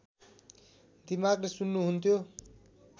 दिमागले सुन्नुहुन्थ्यो